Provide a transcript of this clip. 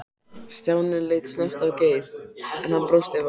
Stjáni leit snöggt á Geir, en hann brosti bara.